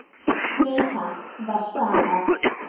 Nei takk var svarið.